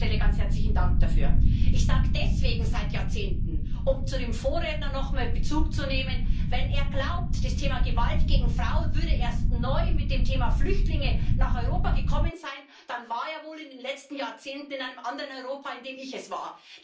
An der Stelle ganz herzlichen Dank dafür. Ich sage deswegen seit Jahrzehnten, um nochmals auf den Vorredner Bezug zu nehmen. Wenn er glaubt, das Thema Gewalt gegen Frauen sei erst neu mit dem Thema Flüchtlinge nach Europa gekommen, dann war er wohl in den letzten Jahrzehnten in einem anderen Europa, als ich es war.